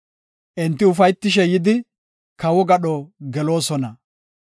Enti ufaytishe yidi, kawo gadho geloosona.